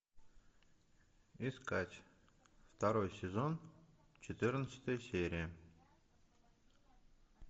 искать второй сезон четырнадцатая серия